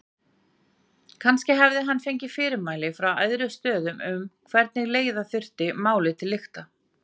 Kannski hafði hann fengið fyrirmæli frá æðri stöðum um hvernig leiða þyrfti málið til lykta.